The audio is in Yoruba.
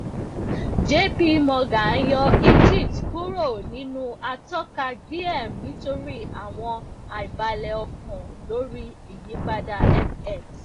jp morgan yọ egypt kuro ninu atọka gbiem nitori awọn aibale okan lori iyipada fx